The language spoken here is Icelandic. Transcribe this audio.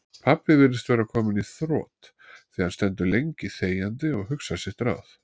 Pabbi virðist vera kominn í þrot, því hann stendur lengi þegjandi og hugsar sitt ráð.